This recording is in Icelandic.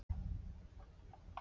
Samningurinn er fram á sumar.